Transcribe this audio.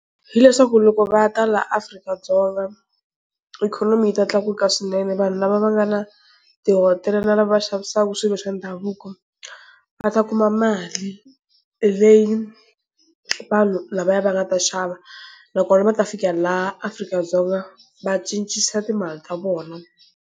Hileswaku loko va ta la Afrika-Dzonga ikhonomi yi ta tlakuka swinene, vanhu lava va nga na tihotela na lava va xavisaka swilo swa ndhavuko va ta kuma mali leyi vanhu lavaya va nga ta xava nakona va ta fikela la Afrika-Dzonga va cincisa timali ta vona.